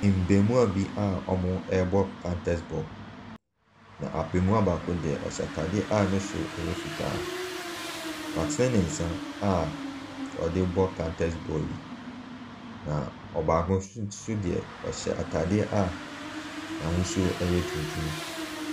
Mmaamuwaa bi a wɔrebɔ counters ball. Na abaamuwa baako deɛ, ɔhyɛ ataadeɛ a ne soro yɛ fitaa. Watene ne nsa a ɔde counters ball yi. Na ɔbaako nso deɛ, ɔhyɛ ataadeɛ n'ahosuo yɛ tuntum.